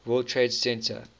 world trade center